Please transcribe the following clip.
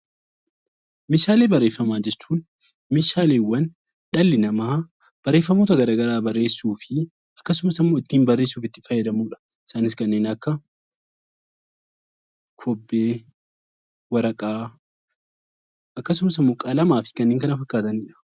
Meeshaalee barreeffamaa jechuun meeshaaleewwan dhalli namaa barreeffamoota garaagaraa barreessuu fi akkasumas immoo ittiin barreessuuf itti fayyadamuu dha. Isaanis kanneen akka kobbee, waraqaa, akkasumas immoo qalamaa fi kanneen kana fakkaatanii dha.